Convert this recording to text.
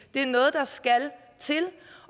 det er noget der skal til